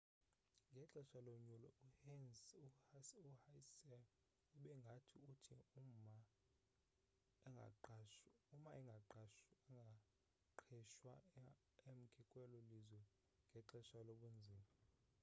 ngexesha lonyulo uhsieh ube ngathi uthi uma angaqhwesha emke kwelo lizwe ngexesha lobunzima